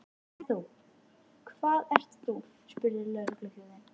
En þú, hvað ert þú? spurði lögregluþjónninn.